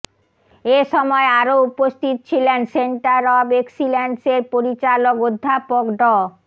এ সময় আরও উপস্থিত ছিলেন সেন্টার অব এক্সিলেন্স এর পরিচালক অধ্যাপক ড